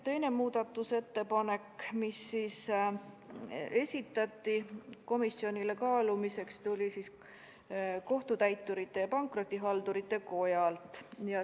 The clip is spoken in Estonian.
Teise muudatusettepaneku esitas komisjonile kaalumiseks Kohtutäiturite ja Pankrotihaldurite Koda.